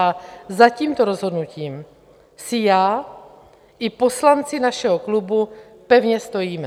A za tímto rozhodnutím si já i poslanci našeho klubu pevně stojíme.